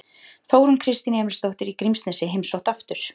Þórunn Kristín Emilsdóttir í Grímsnesi heimsótt aftur